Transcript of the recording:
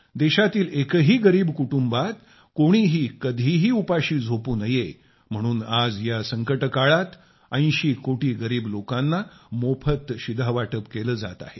देशातील एकही गरीब कुटुंबात कोणीही कधीही उपाशी झोपू नये म्हणून आज या संकटकाळात 80 कोटी गरीब लोकांना मोफत शिधावाटप केले जात आहे